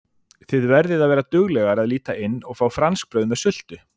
Þið verðið að vera duglegar að líta inn og fá franskbrauð með sultu